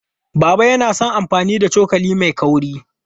Baba yana son amfani da cokali mai kaurin.